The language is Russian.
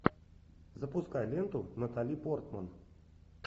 запускай ленту натали портман